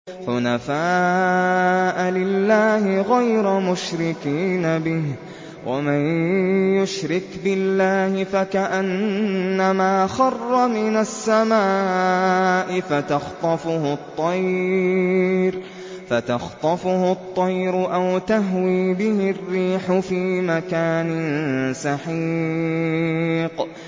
حُنَفَاءَ لِلَّهِ غَيْرَ مُشْرِكِينَ بِهِ ۚ وَمَن يُشْرِكْ بِاللَّهِ فَكَأَنَّمَا خَرَّ مِنَ السَّمَاءِ فَتَخْطَفُهُ الطَّيْرُ أَوْ تَهْوِي بِهِ الرِّيحُ فِي مَكَانٍ سَحِيقٍ